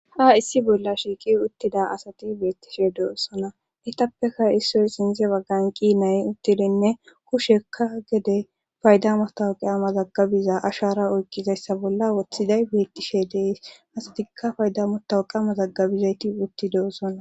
Ha issi bolla shiiqi uttida asati beettishe deossona itappeka issoy sinze baggan qiinay uttidinne kushekka gede paydamotaw qaama zaggabiza ashara oykqizayssa bolla woththiday beettishe dees asatikka faydamotawu qaama zaggabizayti uttideossonna